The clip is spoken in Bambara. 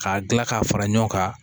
K'a dilan k'a fara ɲɔgɔn kan